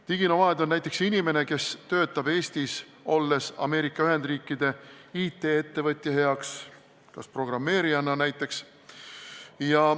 Diginomaad on näiteks inimene, kes töötab Eestis olles Ameerika Ühendriikide IT-ettevõtja heaks, näiteks programmeerijana.